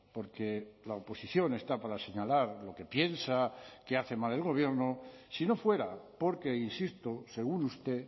porque la oposición está para señalar lo que piensa que hace mal el gobierno si no fuera porque insisto según usted